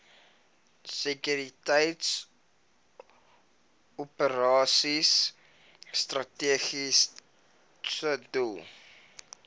sekuriteitsoperasies strategiese doel